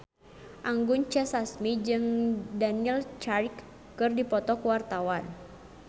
Anggun C. Sasmi jeung Daniel Craig keur dipoto ku wartawan